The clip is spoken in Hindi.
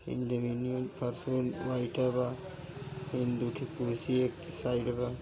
ई जमीनियो फर्श वाइटे बा। ई दु ठे कुर्सी साइड बा।